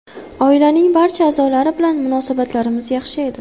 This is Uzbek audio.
Oilaning barcha a’zolari bilan munosabatlarimiz yaxshi edi.